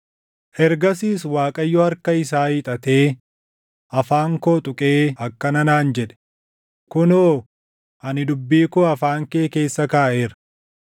Ergasiis Waaqayyo harka isaa hiixatee afaan koo tuqee akkana naan jedhe; “Kunoo, ani dubbii koo afaan kee keessa kaaʼeera.